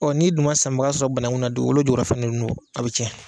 n'i dun ma sanbaga sɔrɔ banaŋu na duukolo jukɔrɔla fɛŋɛ nu a be tiɲɛ.